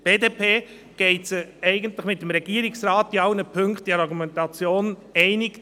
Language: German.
Die BDP geht mit dem Regierungsrat in allen Punkten der Argumentation einig.